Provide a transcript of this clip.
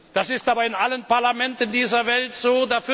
Das ist aber in allen Parlamenten dieser Welt so.